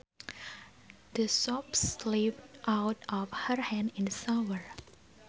The soap slipped out of her hand in the shower